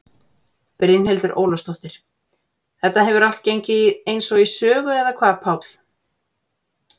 Brynhildur Ólafsdóttir: Þetta hefur allt gengið eins og í sögu eða hvað Páll?